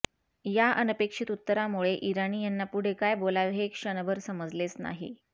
या अनपेक्षित उत्तरामुळे इराणी यांना पुढे काय बोलावे हे क्षणभर समजलेच नाही